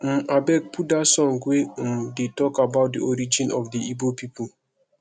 um abeg put dat song wey um dey talk about the origin of the igbo people